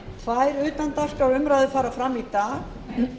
tvær utandagskrárumræður fara fram í dag hin